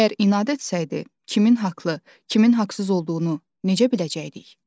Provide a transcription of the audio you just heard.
Əgər inad etsəydi, kimin haqlı, kimin haqsız olduğunu necə biləcəkdik?